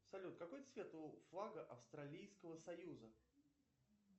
салют какой цвет у флага австралийского союза